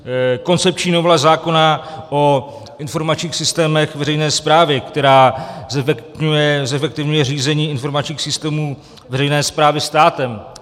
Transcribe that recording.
Koncepční novela zákona o informačních systémech veřejné správy, která zefektivňuje řízení informačních systémů veřejné správy státem.